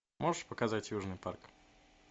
можешь показать южный парк